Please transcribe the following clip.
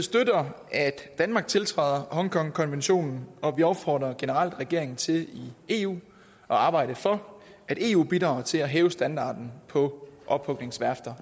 støtter at danmark tiltræder hongkongkonventionen og vi opfordrer generelt regeringen til i eu at arbejde for at eu bidrager til at hæve standarden på ophugningsværfter